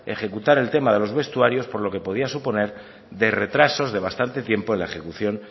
ejecutar el tema de los vestuarios por lo que podía suponer de retrasos de bastante tiempo en la ejecución